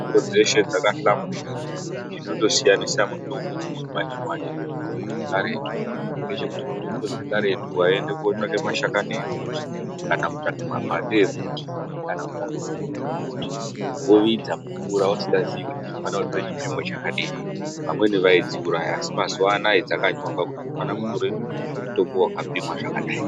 Mitombo dzeshe dzakahlamburuka chinondosiyanisa mutombo dzechimanjemanje nemutombo dzekaretu ngechekuti mutombo dzekaretu waiende kotsvaka mashakani emuti, kana kutsvake makwande emuti ,kana kutsvake nzinde dzemuti wovidza mumvura usingazii kuti ndofane kutore chipimo chakadini vamweni vaidziuraya asi mazuwa anaya dzakanyorwa kuti unofane kutora mutombo wakapimwa zvakadai.